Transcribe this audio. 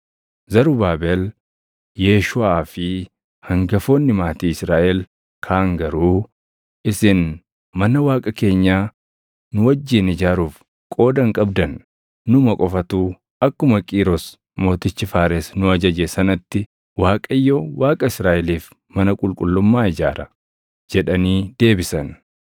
Zarubaabel, Yeeshuuʼaa fi hangafoonni maatii Israaʼel kaan garuu, “Isin mana Waaqa keenyaa nu wajjin ijaaruuf qooda hin qabdan. Numa qofatu akkuma Qiiros Mootichi Faares nu ajaje sanatti Waaqayyo Waaqa Israaʼeliif mana qulqullummaa ijaara” jedhanii deebisan.